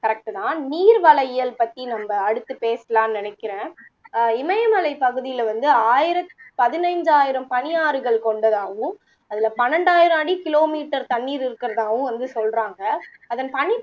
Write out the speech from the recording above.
correct தான் நீர்வளயியல் பத்தி நம்ப அடுத்து பேசலாம் நினைக்கிறேன அஹ் இமயமலைப்பகுதியில வந்து ஆயிரத் பதினைந்தாயிரம் பனியாறுகள் கொண்டதாகவும் அதுல பன்னிரெண்டாயிரம் அடி kilometer தண்ணீர் இருக்குறதாவும் வந்து சொல்லுறாங்க அதன் பனிப்